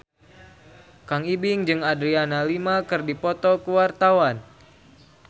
Kang Ibing jeung Adriana Lima keur dipoto ku wartawan